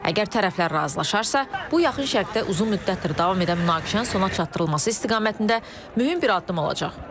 Əgər tərəflər razılaşarsa, bu Yaxın Şərqdə uzun müddətdir davam edən münaqişənin sona çatdırılması istiqamətində mühüm bir addım olacaq.